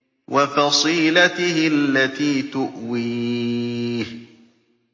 وَفَصِيلَتِهِ الَّتِي تُؤْوِيهِ